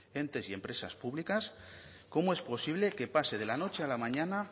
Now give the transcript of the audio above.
entes y empresas públicas cómo es posible que pase de la noche a la mañana